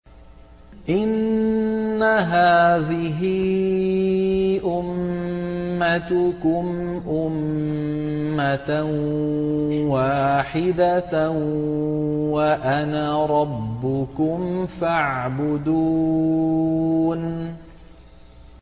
إِنَّ هَٰذِهِ أُمَّتُكُمْ أُمَّةً وَاحِدَةً وَأَنَا رَبُّكُمْ فَاعْبُدُونِ